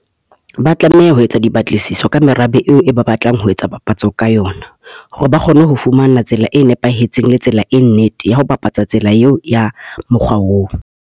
Ba tlameha ho etsa dipatlisiso ka merabe eo e ba batlang ho etsa papatso ka yona, hore ba kgone ho fumana tsela e nepahetseng, le tsela e nnete ya ho bapatsa tsela eo ya mokga oo.